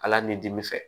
Ala ni dimi fɛ